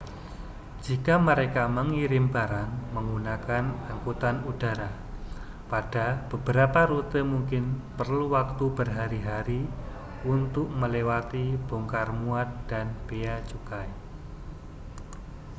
jika mereka mengirim barang menggunakan angkutan udara pada beberapa rute mungkin perlu waktu berhari-hari untuk melewati bongkar muat dan bea cukai